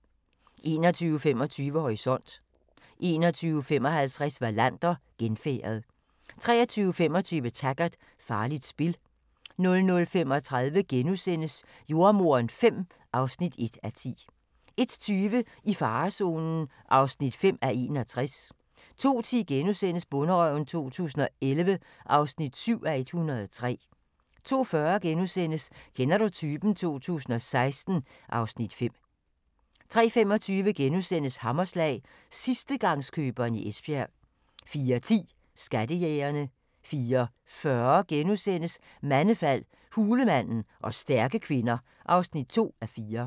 21:25: Horisont 21:55: Wallander: Genfærdet 23:25: Taggart: Farligt spil 00:35: Jordemoderen V (1:10)* 01:20: I farezonen (5:61) 02:10: Bonderøven 2011 (7:103)* 02:40: Kender du typen? 2016 (Afs. 5)* 03:25: Hammerslag – sidstegangskøberen i Esbjerg * 04:10: Skattejægerne 04:40: Mandefald – hulemanden og stærke kvinder (2:4)*